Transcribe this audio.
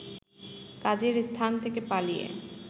কাজের স্থান থেকে পালিয়ে